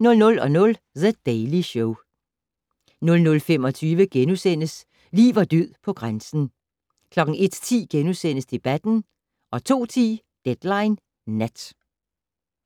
00:00: The Daily Show 00:25: Liv og død på grænsen * 01:10: Debatten * 02:10: Deadline Nat